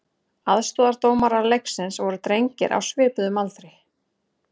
Aðstoðardómarar leiksins voru drengir á svipuðum aldri.